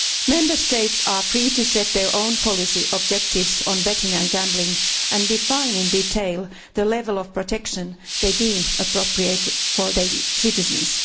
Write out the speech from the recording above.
Member States are free to set their own policy objectives on betting and gambling and define in detail the level of protection they deem appropriate for their citizens.